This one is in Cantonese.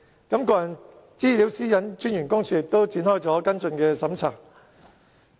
個人資料私隱專員公署亦展開了跟進的調查。